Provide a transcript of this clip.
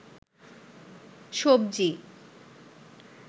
সবজি